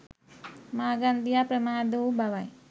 මාගන්දියා ප්‍රමාද වූ බවයි.